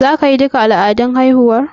Za ki yi duka al'adun haihuwar?